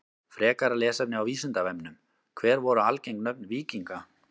Frekara lesefni á Vísindavefnum: Hver voru algeng nöfn víkinga?